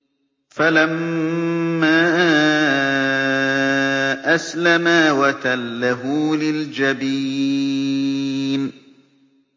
فَلَمَّا أَسْلَمَا وَتَلَّهُ لِلْجَبِينِ